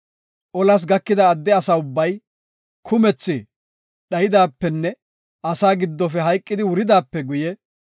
Olas gakida adde asa ubbay kumethi dhaydaapenne asaa giddofe hayqidi wuridaape guye,